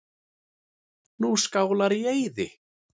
Nú eru Skálar í eyði.